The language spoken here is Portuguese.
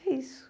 E é isso.